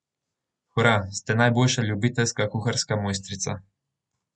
Hura, ste najboljša ljubiteljska kuharska mojstrica.